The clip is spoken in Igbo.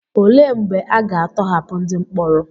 Olee mgbe a ga-atọhapụ ndị mkpọrọ?